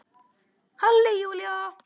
Halli Júlía!